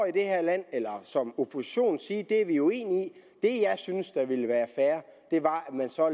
i det her land eller som opposition sige det er vi uenige i det jeg synes ville være fair var at man så